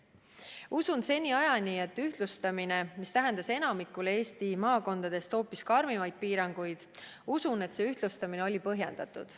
Usun seniajani, et ühtlustamine, mis tähendas enamikule Eesti maakondadest hoopis karmimaid piiranguid, oli põhjendatud.